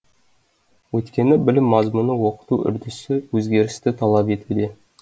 өйткені білім мазмұны оқыту үрдісі өзгерісті талап етуде